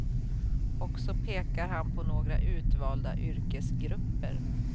Och så pekar han på några utvalda yrkesgrupper.